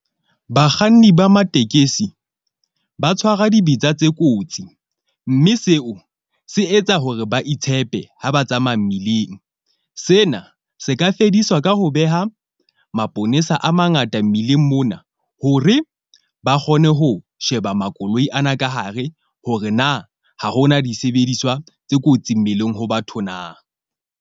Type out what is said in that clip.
Bakganni ba matekesi ba tshwara dibetsa tse kotsi mme seo se etsa hore ba itshepe ha ba tsamaya mmileng. Sena se ka fediswa ka ho beha maponesa a mangata mmileng mona, hore ba kgone ho sheba makoloi ana ka hare hore na ha hona disebediswa tse kotsi mmileng ho batho na.